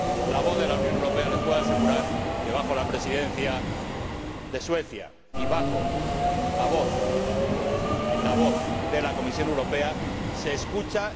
La voz de la Unión Europea, les puedo asegurar que —bajo la Presidencia de Suecia y con la voz de la Comisión Europea— se escucha.